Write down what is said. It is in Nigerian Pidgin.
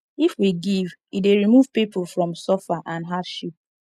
if we give e dey remove pipo from suffer and hardship